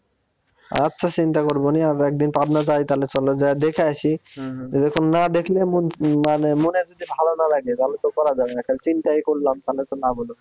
আচ্ছা চিন্তা করবো নি আমারা একদিন পাবনা যাই তালে চলো যায়ে দেখে আসি এরকম না দেখলে মন উম মানে মনের ভিতর তালে তো করা যাবে না এখন চিন্তাই করলাম তালে তো